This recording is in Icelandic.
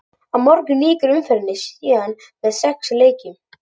Á morgun lýkur umferðinni síðan með sex leikjum.